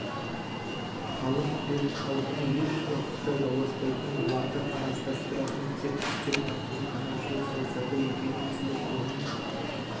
халық пен халықтың еш уақытта жауласпайтынын оларды араздастыратын тек үстем таптың қанаушылық саясаты екенін түсініп оның